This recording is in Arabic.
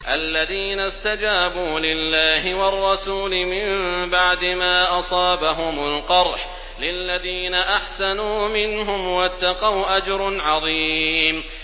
الَّذِينَ اسْتَجَابُوا لِلَّهِ وَالرَّسُولِ مِن بَعْدِ مَا أَصَابَهُمُ الْقَرْحُ ۚ لِلَّذِينَ أَحْسَنُوا مِنْهُمْ وَاتَّقَوْا أَجْرٌ عَظِيمٌ